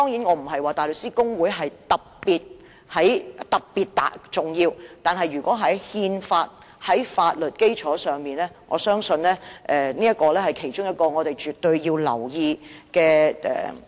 我並非說大律師公會特別重要，但它就憲法和法律基礎提供的意見，我相信是其中一項需要留意和尊重的意見。